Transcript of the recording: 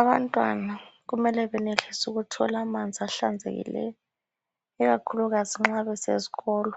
Abantwana kumele benelise ukuthola amanzi ahlanzekileyo. Ikakhulukazi nxa besesikolo.